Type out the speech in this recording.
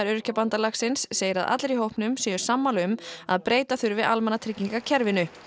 Öryrkjabandalagsins segir að allir í hópnum séu sammála um að breyta þurfi almannatryggingakerfinu